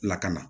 Lakana